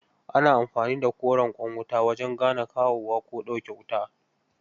Ana amfani da koren ƙwan wuta wajen gane kawowa ko ɗauke wuta